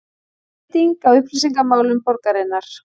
Breyting á upplýsingamálum borgarinnar